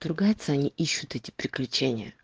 ругаться они ищут эти приключения